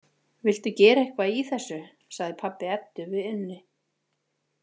Viltu gera eitthvað í þessu, sagði pabbi Eddu við Unni.